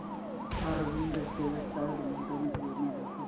Arvind textile गुंतवणूक योजना दाखव